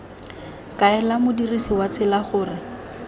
kaela modirsi wa tsela gore